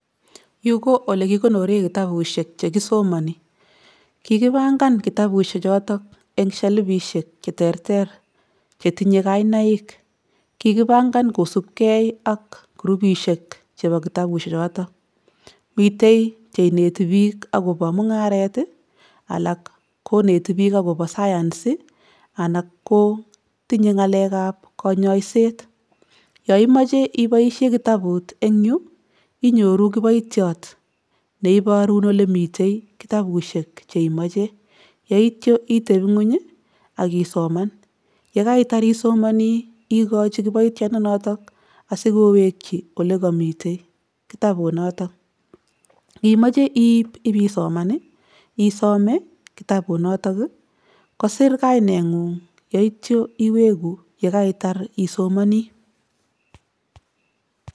Yu ko ole kikonore kitabushek che kisomoni, kikipangan kitabuse choto eng shelfisiek che terter che tinye kainaik, kikipangan kosupkei ak grupisiek chebo kitabushe choto, mitei che ineti piik ak kobo mungaret ii, alak koneti piik akobo science ii, alak ko tinye ngalekab kanyoiset. Yo imoche iboisie kitabut eng yu, inyoru kiboitiot neiborun ole mite kitabushek che imoche, yeityo iteb nguny ii ak isoman ye kaitar isomanii ikochi kiboitiondonoto asi kowekyi ole kamite kitabu noto, ngimoche iip ipisoman ii, isome kitabunoto ii, kosir kainengung yoityo iweku yekaitar isomoni.